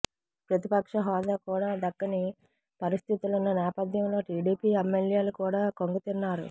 ప్రతిపక్ష హోదా కూడా దక్కని పరిస్థితులున్న నేపథ్యంలో టీడీపీ ఎమ్మెల్యేలు కూడా కంగుతిన్నారు